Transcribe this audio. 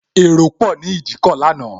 Èrò pò ni Ìdíkọ̀ lánàá